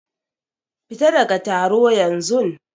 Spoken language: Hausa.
Fita ɗaga taro yanzun!